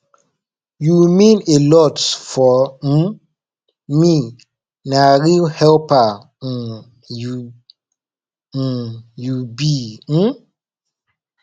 you mean a lot for um me na real helper um you um you be um